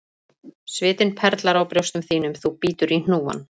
Svitinn perlar á brjóstum þínum þú bítur í hnúann,